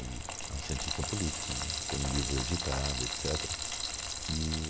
Ele é um cientista político, né, tem o livro editado, et cetera. E